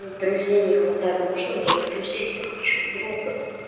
ну друзей не хватает можно мне друзей я хочу друга